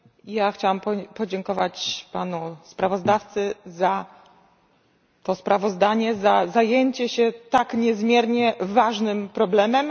Ja chciałam podziękować panu sprawozdawcy za to sprawozdanie, za zajęcie się tak niezmiernie ważnym problemem.